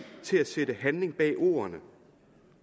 til at sætte handling bag ordene